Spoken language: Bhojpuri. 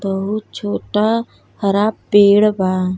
बहुत छोटा हरा पेड़ बा।